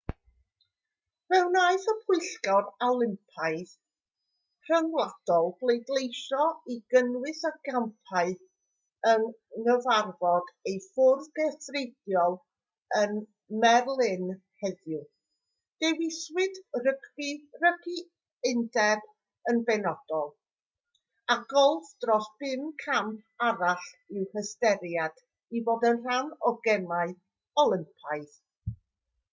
fe wnaeth y pwyllgor olympaidd rhyngwladol bleidleisio i gynnwys y campau yng nghyfarfod ei fwrdd gweithredol ym merlin heddiw dewiswyd rygbi rygbi undeb yn benodol a golff dros bum camp arall i'w hystyried i fod yn rhan o'r gemau olympaidd